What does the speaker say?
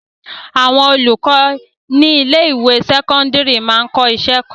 Àwọn olùkọ ní ilé-ìwé sẹ́kọ́ńdírì máa ń kọ́ iṣẹ́ kan.